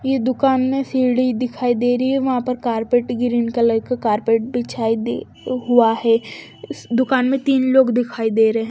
ये दुकान में सी डी दिखाई दे रही है वहां पर कार्पेट ग्रीन कलर का कार्पेट बिछाई दे हुआ है दुकान में तीन लोग दिखाई दे रही है।